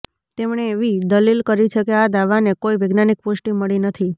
તેમણે એવી દલીલ કરી છે કે આ દાવાને કોઈ વૈજ્ઞાનિક પુષ્ટિ મળી નથી